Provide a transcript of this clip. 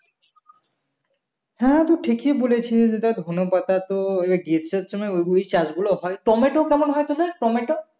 হ্যাঁ তুই ঠিকই বলেছিস দেখ ধনেপাতা তো ওই গ্রীষ্মের সময় ওইগুলোই চাষগুলো হয় টমেটো কেমন হয় তোদের টমেটো